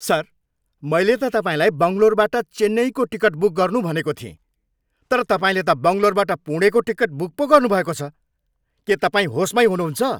Sir! मैले त तपाईँलाई बङ्गलोरबाट चेन्नईको टिकट बुक गर्नु भनेको थिएँ तर तपाईँले त बङ्गलोरबाट पुणेको टिकट बुक पो गर्नुभएको छ। के तपाईँ होसमैँ हुनुहुन्छ?